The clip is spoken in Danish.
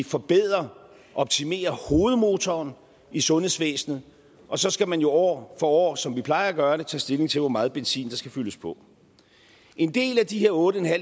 forbedre optimere hovedmotoren i sundhedsvæsenet og så skal man jo år for år som vi plejer at gøre det tage stilling til hvor meget benzin der skal fyldes på en del af de her otte